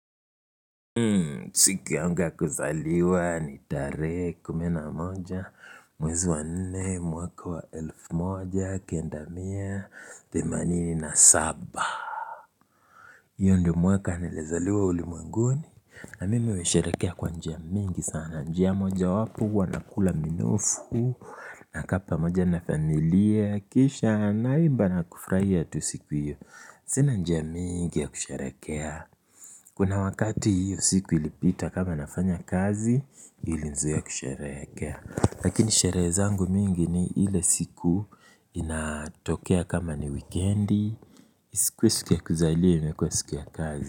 Siku yangu ya kuzaliwa ni tarehe kumi na moja mwezi wa nne mwaka wa elf moja kenda mia themanini na saba io ndio mwaka nilizaliwa ulimwenguni na mimi huisherekea kwa njia mingi sana njia moja wapo huwa nakula minofu nakaa pamoja na familia kisha naimba na kufurahia tu siku iyo sina njia mingi ya kusherekea kuna wakati hiyo siku ilipita kama nafanya kazi ilinizuia kusherehekea lakini sherehe zangu mingi ni ile siku inatokea kama ni wikendi isikuwe siku ya kuzaliwa imekuwa siku ya kazi.